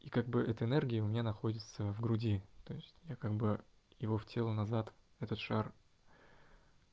как бы эта энергия у меня находится в груди то есть я как бы его хотел назад этот шар